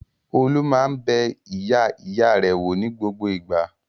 Olú máa ń bẹ ìyá-ìyá rẹ̀ wò ní gbogbo ìgbà.